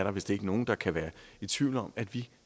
er vist ikke nogen der kan være i tvivl om at vi